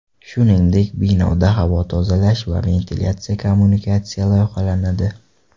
Shuningdek binoda havo tozalash va ventilyatsiya kommunikatsiya loyihalanadi.